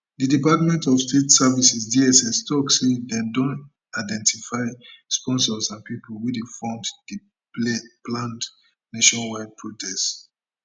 di department of state services dsstok say dem don identify sponsors and pipo wey dey fund di planned nationwide protest